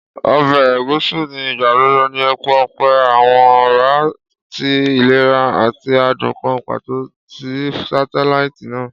Ọbẹ Egusi ni igbagbogbo ni epo ọpẹ, pese awọn ọra ti ilera ati adun kan pato si satelaiti naa.